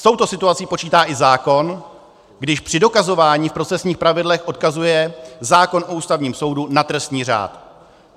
S touto situací počítá i zákon, když při dokazování v procesních pravidlech odkazuje zákon o Ústavním soudu na trestní řád.